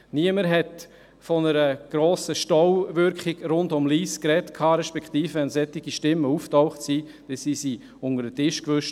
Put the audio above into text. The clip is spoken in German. Niemand sprach von einer grossen Stauwirkung rund um Lyss, beziehungsweise, wenn solche Stimmen auftauchten, wurden sie unter den Tisch gewischt.